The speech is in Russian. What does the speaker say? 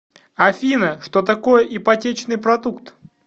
афина что такое ипотечный продукт